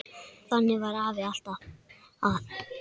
Þannig var afi, alltaf að.